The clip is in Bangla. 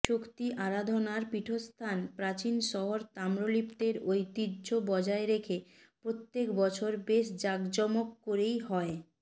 শক্তি আরাধানার পীঠস্থান প্রাচীন শহর তাম্রলিপ্তের ঐতিহ্য বজায় রেখে প্রত্যেক বছর বেশ জাঁকজমক করেই হয়